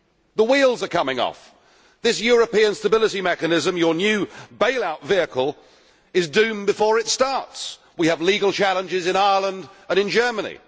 The wheels are coming off. This European Stability Mechanism, your new bailout vehicle, is doomed before it starts. We have legal challenges in Ireland and in Germany.